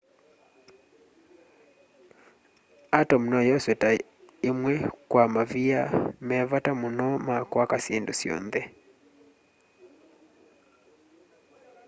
atom noyoswe ta ĩmwe kwa mavia me vata mũno ma kwaka syĩndũ syonthe